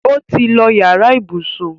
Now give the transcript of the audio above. ọ tí ló yàrá ibùsùn.